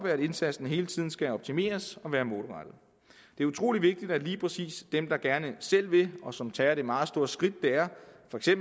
at indsatsen hele tiden skal optimeres og være målrettet det er utrolig vigtigt at lige præcis dem der gerne selv vil og som tager det meget store skridt det er